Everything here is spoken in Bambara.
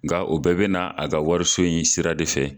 Nga o bɛɛ be na a ka wariso in sira de fɛ.